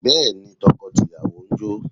Bẹ́ẹ̀ni, tọkọ tìyàwó ń jó